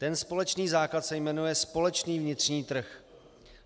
Ten společný základ se jmenuje společný vnitřní trh.